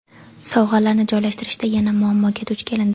Sovg‘alarni joylashtirishda yana muammoga duch kelindi.